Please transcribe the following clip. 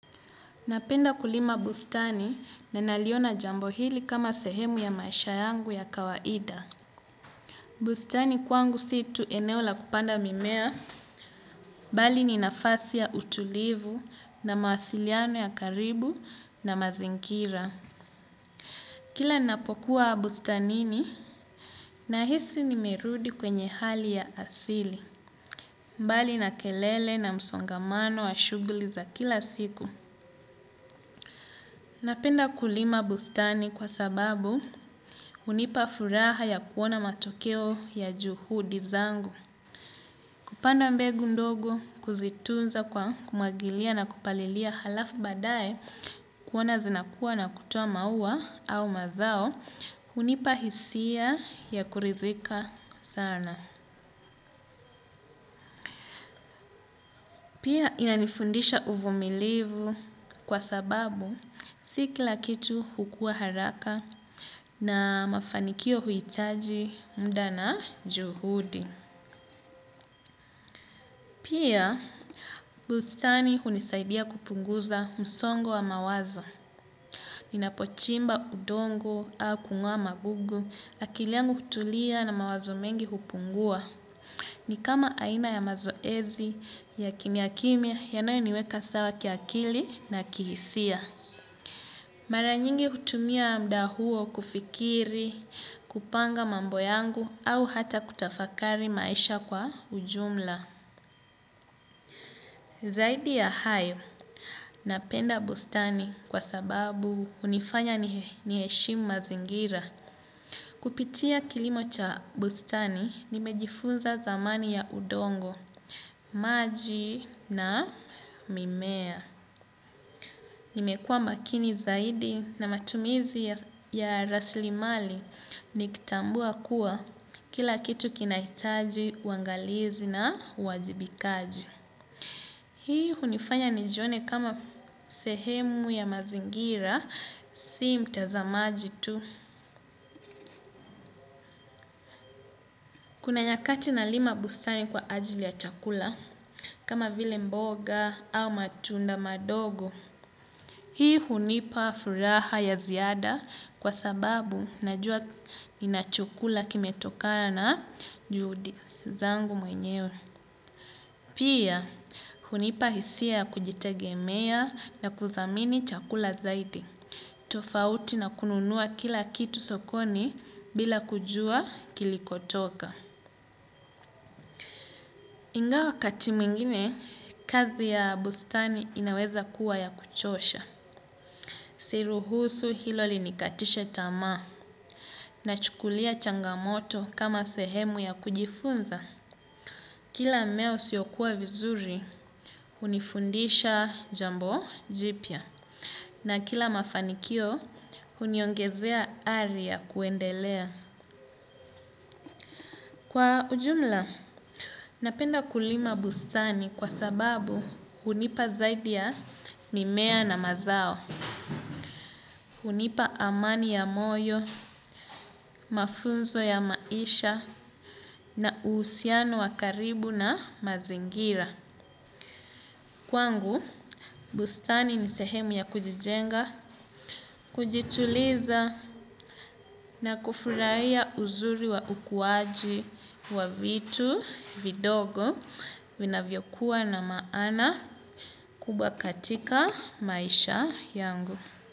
Napenda kulima bustani na naliona jambo hili kama sehemu ya maisha yangu ya kawaida. Bustani kwangu si tuu eneo la kupanda mimea, bali ni nafasi ya utulivu na mawasiliano ya karibu na mazingira. Kila napokuwa bustanini na hisi nimerudi kwenye hali ya asili, mbali na kelele na msongamano wa shughuli za kila siku. Napenda kulima bustani kwa sababu hunipa furaha ya kuona matokeo ya juhudi zangu. Kupanda mbegu ndogo kuzitunza kwa kumwagilia na kupalilia halafu badae kuona zinakuwa na kutoa maua au mazao hunipa hisia ya kurizika sana. Pia inanifundisha uvumilivu kwa sababu si kilakitu hukua haraka na mafanikio huitaji mda na juhudi. Pia, bustani hunisaidia kupunguza msongo wa mawazo. Ninapochimba udongo au kung'oa magugu, akili yangu hutulia na mawazo mengi kupungua. Ni kama aina ya mazoezi, ya kimya kimya, yanayo niweka sawa kiakili na kihisia. Mara nyingi hutumia mda huo kufikiri, kupanga mambo yangu, au hata kutafakari maisha kwa ujumla. Zaidi ya hayo, napenda bustani kwa sababu hunifanya niheshimu mazingira. Kupitia kilimo cha bustani, nimejifunza thamani ya udongo, maji na mimea. Nimekua makini zaidi na matumizi ya raslimali, nikitambua kuwa kila kitu kinaitaji, uangalizi na uwajibikaji. Hii hunifanya nijione kama sehemu ya mazingira, si mtazamaji tu. Kuna nyakati nalima bustani kwa ajili ya chakula, kama vile mboga au matunda madogo. Hii hunipa furaha ya ziada kwa sababu na jua nina chakula kime tokana juhudi zangu mwenyewe. Pia, hunipa hisia kujitegemea na kuthamini chakula zaidi. Tofauti na kununuwa kila kitu sokoni bila kujua kilikotoka. Ingawa wakati mwingine, kazi ya bustani inaweza kuwa ya kuchosha. Siruhusu hilo linikatishe tamaa nachukulia changamoto kama sehemu ya kujifunza. Kila mme usiokuwa vizuri, hunifundisha jambo jipya na kila mafanikio, huniongezea ari kuendelea. Kwa ujumla, napenda kulima bustani kwa sababu hunipa zaidi ya mimea na mazao, hunipa amani ya moyo, mafunzo ya maisha na uhusiano wakaribu na mazingira. Kwangu, bustani ni sehemu ya kujijenga, kujituliza na kufurahia uzuri wa ukuaji wa vitu vidogo vina vyokuwa na maana kubahatika maisha yangu.